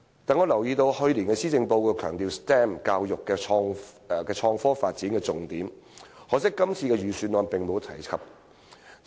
我留意到，去年的施政報告強調 STEM 教育是創科發展的重點，可惜今年的預算案並無提及。